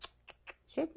De jeito